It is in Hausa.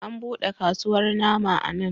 An buɗe kasuwar nama a nan.